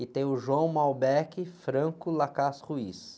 E tenho o.